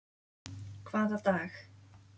Hvaða dag?